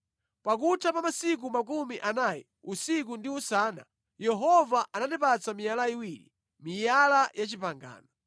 Pakutha pa masiku makumi anayi usiku ndi usana, Yehova anandipatsa miyala iwiri, miyala ya pangano.